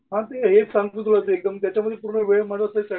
बाकी हेच सांगतो तुला असं एकदम जेच्यामध्ये पूर्ण वेळ